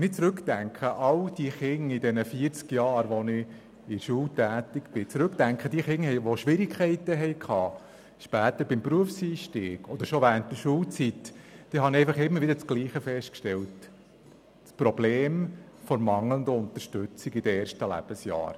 Wenn ich an alle die Kinder zurückdenke, die ich während meiner vierzigjährigen Schultätigkeit unterrichtet habe, und die beim Berufseinstieg oder bereits während der Schulzeit Schwierigkeiten hatten, stelle ich immer wieder dasselbe Problem fest: die mangelnde Unterstützung in den ersten Lebensjahren.